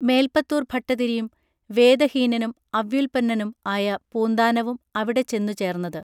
മേല്പത്തൂർ ഭട്ടതിരിയും വേദഹീനനും അവ്യുല്പന്നനും ആയ പൂന്താനവും അവിടെ ചെന്നു ചേർന്നത്